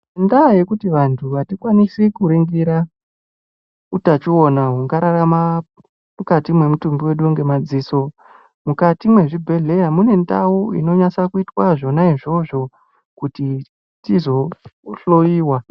Ngendaa yekuti vantu hatikwanisi kuringira utachiwana ungararama mukati memutumbi wedu madziso, mukati mwechibhedhlera mune ndau inosisa kuti tizohloyiwa.